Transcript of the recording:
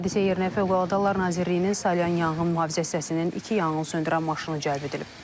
Hadisə yerinə Fövqəladə Hallar Nazirliyinin Salyan Yanğın Mühafizə hissəsinin iki yanğınsöndürən maşını cəlb edilib.